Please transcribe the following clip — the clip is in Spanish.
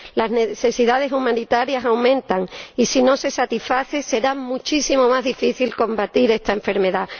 Las necesidades humanitarias aumentan y, si no se satisfacen, será muchísimo más difícil combatir esta enfermedad.